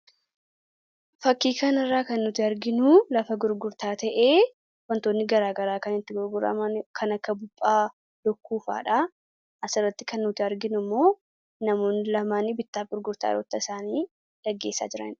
Fakkii kanarraa kan nuti arginu lafa gurgurtaa ta'ee wantoonni garaagaraa kan itti gurguraman kan akka buphaa, lukkuu fa'aadha asirratti kan nuti arginu namoonni lamaan immoo bittaa fi gurgurtaa kanneen gaggeessaa jiranidha.